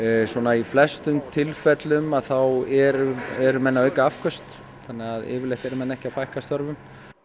í flestum tilfellum eru eru menn að auka afköst þannig að yfirleitt eru menn ekki að fækka störfum